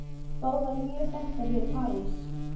Báðar mjög þekktar hér í París.